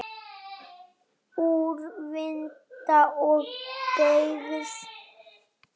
Úrvinda og beygð.